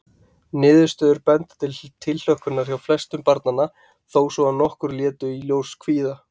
Niðurstöður benda til tilhlökkunar hjá flestum barnanna, þó svo að nokkur létu í ljósi kvíða.